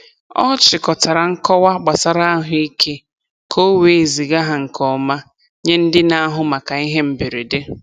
Ọ chịkọtara nkọwa gbasara ahụike ka o wee ziga ha nke ọma nye ndị na-ahụ maka ihe mberede.